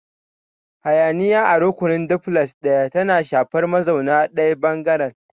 Hayaniya a rukunin Duplex ɗaya tana shafar mazauna ɗayan ɓangaren.